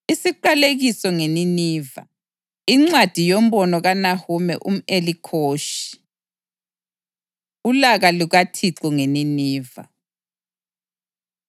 Isiqalekiso ngeNiniva. Incwadi yombono kaNahume umʼElikhoshi. Ulaka LukaThixo NgeNiniva